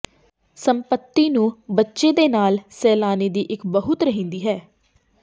ਸੰਪਤੀ ਨੂੰ ਬੱਚੇ ਦੇ ਨਾਲ ਸੈਲਾਨੀ ਦੀ ਇੱਕ ਬਹੁਤ ਰਹਿੰਦੀ ਹੈ